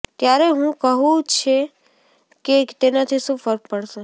ત્યારે હું કહું છે કે તેનાથી શું ફર્ક પડશે